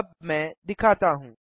अब मैं दिखाता हूँ